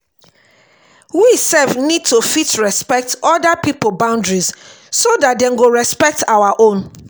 we sef need to fit respect oda pipo boundaries so dat dem go respect our own